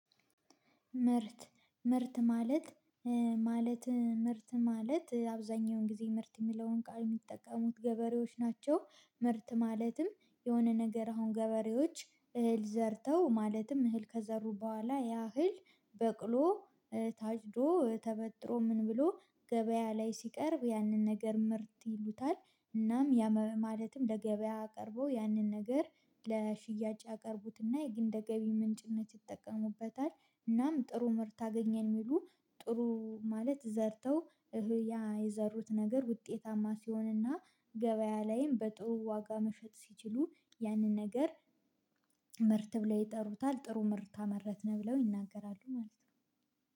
ምርት ምርት ማለት ማለት ምርት ማለት አብዛኛውን ጊዜ ምርት የሚለውን ቃል የሚጠቀሙት ገበሬዎች ናቸው። ምርት ማለትም የሆነ ነገር አሁን ገበሬዎች እህል ዘርተው ማለትም እህል ከዘሩ በኋላ ያ እህል በቅሎ ታጭዶ ተበጥሮ ምን ብሎ ገበያ ላይ ሲቀርብ ያንን ነገር ምርት ይሉታል። እናም ማለትም ለገበያ አቅርቦ ያንን ነገር ለሽያጭ ያቀርቡትና የግንደ ገቢ ምንጭነት ይጠቀሙበታል። እናም ጥሩ ምርት አገኘን የሚሉ ጥሩ ማለት ዘርተው እህያ የዘሩት ነገር ውጤታማ ሲሆንና ገበያ ላይም በጥሩ ዋጋ መሸጥ ሲችሉ ያንን ነገር። ምርት ብለው ይጠሩታል ጥሩ ምርት አመረተነው ብለው ይናገራሉ ማለት ነው